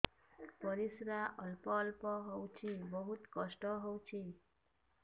ପରିଶ୍ରା ଅଳ୍ପ ଅଳ୍ପ ହଉଚି ବହୁତ କଷ୍ଟ ହଉଚି